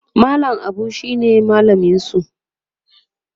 mallam Abu shine mallaminsu